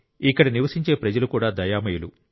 ఇక్కడ నివసించే ప్రజలు కూడా దయామయులు